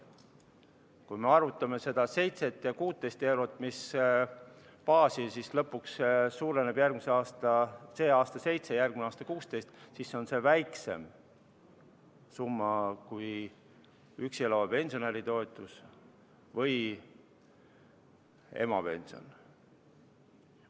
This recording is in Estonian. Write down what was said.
Kui baasosa suurenes sel aastal 7 eurot ja järgmisel aastal tõuseb 6 eurot, siis on see väiksem summa kui üksi elava pensionäri toetus või emapension.